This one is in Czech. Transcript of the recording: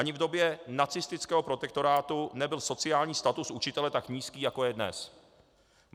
Ani v době nacistického protektorátu nebyl sociální status učitele tak nízký, jako je dnes.